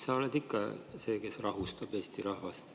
Sa oled ikka see, kes rahustab Eesti rahvast.